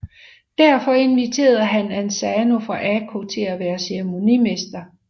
Derfor inviterede han Asano fra Ako til at være ceremonimester